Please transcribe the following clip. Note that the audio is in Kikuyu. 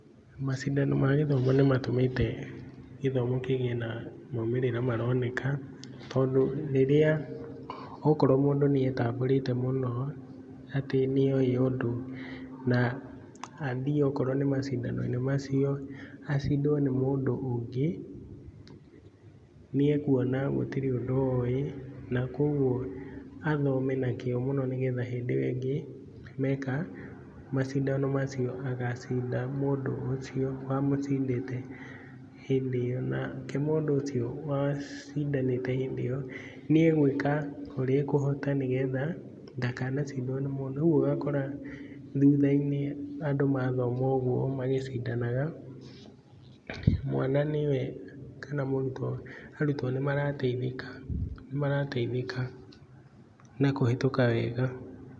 Macindano ma gĩthomo nĩmatũmĩte, gĩthomo kĩgĩe na maumĩrĩra maroneka. Tondu rĩrĩa akorwo mũndũ nĩ etamburĩte mũno, atĩ nĩoĩ ũndũ, na athiĩ akorwo nĩ macindananoi-inĩ macio, acindwo nĩ mũndũ ũngĩ ,niakũona gũtirĩ ũndũ oĩ, na koguo athome na kĩo mũno, nĩgetha hĩndĩ ĩo ĩngĩ meka macindano macio, agacinda mũndũ ũcio wamũcindĩte hĩndĩ ĩo. Nake mũndũ ũcio wacindanĩte hĩndĩ ĩo nĩagwĩka ũrĩa ekũhota nĩgetha, ndakanacidwo nĩ mũndũ .Rĩu ũgakora thuthai-inĩ andũ mathoma ũguo magĩcindanaga, mwana niwe ,kana mũrutwo arutwo nĩ marateithĩka , nĩ marateithĩka na kũhĩtũka wega.